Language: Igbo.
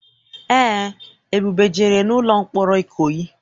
Eé, Ebube jere n'ụlọ mkpọrọ Ikoyi.